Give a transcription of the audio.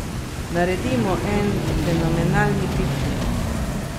Naredimo en fenomenalni piknik.